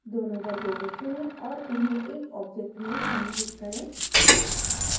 दोनों वर्गों को चुनें और उन्हें एक object में समूहित करें